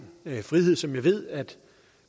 frihed som jeg ved at